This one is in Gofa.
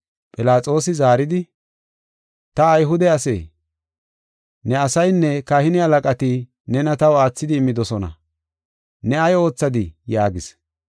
Philaxoosi zaaridi, “Ta Ayhude asee? Ne asaynne kahine halaqati nena taw aathidi immidosona. Ne ay oothadii?” yaagis.